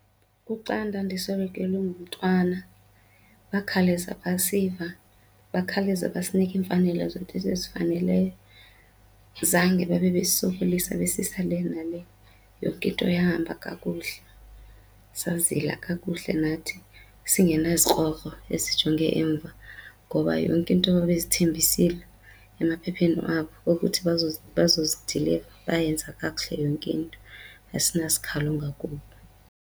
Kuxa ndandiswelekelwe ngumntwana bakhawuleza basiva bakhawuleze basinika iimfanelo zethu ezifaneleyo. Zange babe besisokolisa besisa le nale. Yonke into yahamba kakuhle sazila kakuhle nathi singenazikrokro esijonge emva ngoba yonke into ababezithembisile emaphepheni abo okuthi bazozidiliva bayenza kakuhle yonke into asinasikhalo ngakubo.